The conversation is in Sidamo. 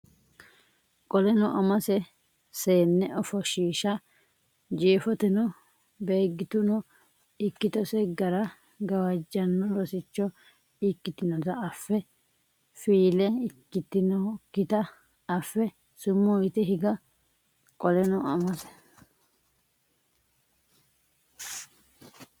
Qoleno Amase seenne ofoshshiisha Jeefoteno Beeggituno ikkitose gara gawajjanno rosicho ikkinota affe fiile ikkitinokkita affe sumuu yite higa Qoleno Amase.